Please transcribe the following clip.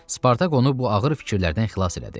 Spartak onu bu ağır fikirlərdən xilas elədi.